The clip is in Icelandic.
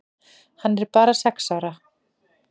Hann er bara sex ára.